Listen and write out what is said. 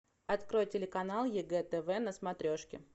открой телеканал егэ тв на смотрешке